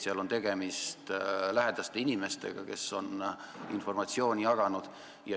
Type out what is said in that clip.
Seal on tegemist lähedaste inimestega, kes on informatsiooni jaganud.